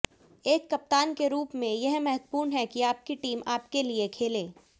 एक कप्तान के रूप में यह महत्वपूर्ण है कि आपकी टीम आपके लिए खेले